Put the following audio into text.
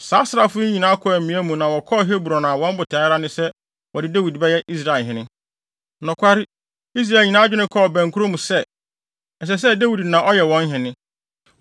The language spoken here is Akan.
Saa asraafo yi nyinaa kɔɔ amia mu na wɔkɔɔ Hebron a wɔn botae ara ne sɛ wɔde Dawid bɛyɛ Israelhene. Nokware, Israel nyinaa adwene kɔɔ bɛnkorɔ mu sɛ, ɛsɛ sɛ Dawid na ɔyɛ wɔn hene.